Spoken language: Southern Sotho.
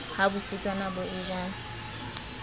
ha bofutsana bo e ja